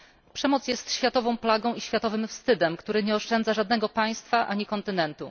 Przemoc jest światową plagą i światowym wstydem, który nie oszczędza żadnego państwa ani kontynentu.